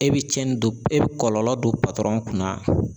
E bi cɛnnin don, e bi kɔlɔlɔ don kunna